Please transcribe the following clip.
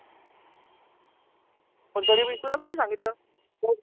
पण तरी बी तुला कोणी सांगितलं?